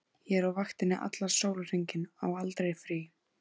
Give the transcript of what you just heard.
Ég er á vaktinni allan sólarhringinn, á aldrei frí.